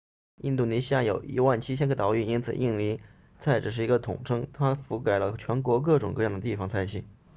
印度尼西亚有 17,000 个岛屿因此印尼菜只是一个统称它涵盖了全国各种各样的地方菜系